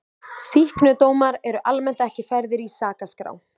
Sýknudómar eru almennt ekki færðir í sakaskrá.